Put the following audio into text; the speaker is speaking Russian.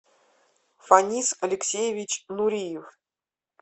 фанис алексеевич нуриев